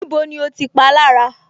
Níbo ni o ti palára